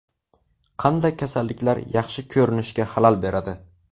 Qanday kasalliklar yaxshi ko‘rinishga xalal beradi?.